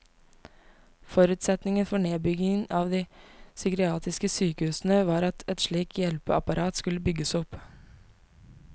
Forutsetningen for nedbyggingen av de psykiatriske sykehusene var at et slikt hjelpeapparat skulle bygges opp.